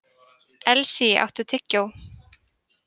Elsý, áttu tyggjó?